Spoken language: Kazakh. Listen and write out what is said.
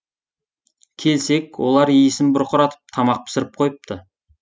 келсек олар иісін бұрқыратып тамақ пісіріп қойыпты